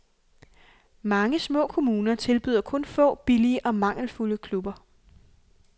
Mange små kommuner tilbyder kun få, billige og mangelfulde klubber.